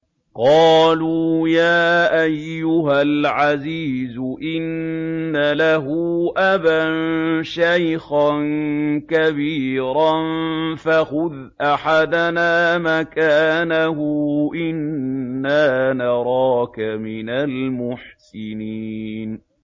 قَالُوا يَا أَيُّهَا الْعَزِيزُ إِنَّ لَهُ أَبًا شَيْخًا كَبِيرًا فَخُذْ أَحَدَنَا مَكَانَهُ ۖ إِنَّا نَرَاكَ مِنَ الْمُحْسِنِينَ